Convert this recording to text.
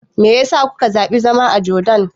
Me ya sa kuka zaɓi zama a Jordan?